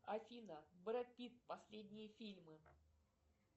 афина брэд питт последние фильмы